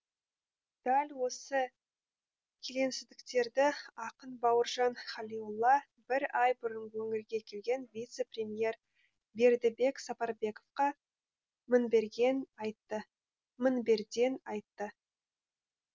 дәл осы келеңсіздіктерді ақын бауыржан халиолла бір ай бұрын өңірге келген вице премьер бердібек сапарбековқа мінберден айтты